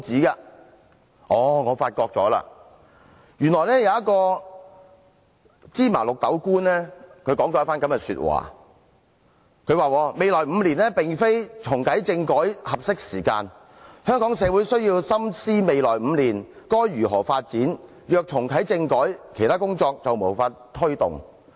後來，我發現原來有一位"芝麻綠豆"官說了一番話，他說未來5年並非重啟政改的合適時間，香港社會需要深思未來5年該如何發展，如果重啟政改，其他工作便無法推動。